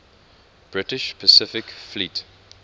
british pacific fleet